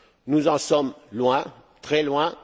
Nous en sommes loin, très loin.